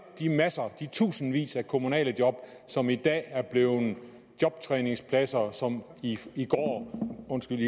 de masser af de tusindvis af kommunale job som i dag er blevet jobtræningspladser og som i